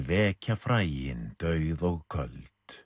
vekja fræin dauð og köld